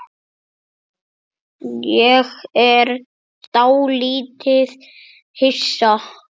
Ég er dálítið hissa.